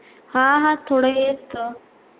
हा हा थोडं येतं.